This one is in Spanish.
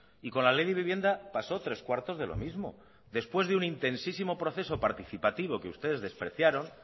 y con la ley de vivienda pasó tres cuartos de lo mismo después de un intensísimo proceso participativo que ustedes despreciaron